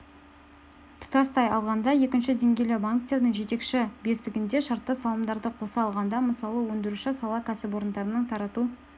тұтастай алғанда екінші деңгейлі банктердің жетекші бестігінде шартты салымдарды қоса алғанда мысалы өндіруші сала кәсіпорындарының тарату